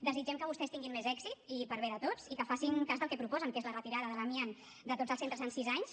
desitgem que vostès tinguin més èxit per bé de tots i que facin cas del que proposen que és la retirada de l’amiant de tots els centres en sis anys